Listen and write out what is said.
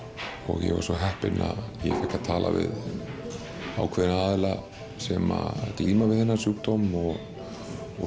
ég var svo heppinn að ég talaði við aðila sem glíma við þennan sjúkdóm